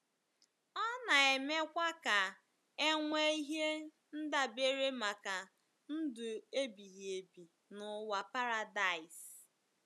Ọ na-emekwa ka e nwee ihe ndabere maka ndụ ebighị ebi n'ụwa paradaịs.